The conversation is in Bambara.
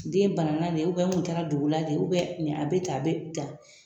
Den banana de n tun taara dugu la de a bɛ tan a bɛ tan